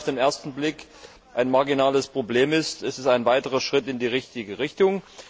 Auch wenn es auf den ersten Blick ein marginales Problem ist, ist es ein weiterer Schritt in die richtige Richtung.